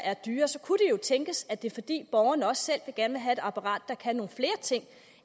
er dyre så kunne det tænkes at det er fordi borgerne også selv gerne vil have et apparat der kan nogle flere ting